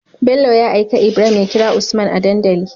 Bello ya aika ibrahim ya kira usman a dandali